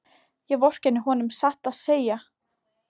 Ég vorkenni honum satt að segja.